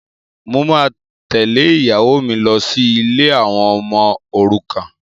Mo máa tẹ́lẹ̀ ìyàwó mi lọ sí ilé àwọn ọmọ òrukàn